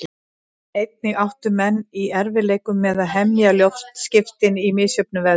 Einnig áttu menn í erfiðleikum með að hemja loftskipin í misjöfnum veðrum.